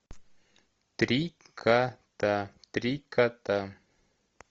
три кота три кота